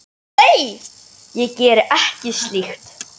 Nei, ég geri ekki slíkt.